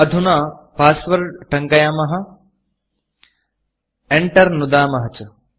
अधुना Passwordपास्वर्ड टङ्कयाम Enterएण्टर् नुदन्तु च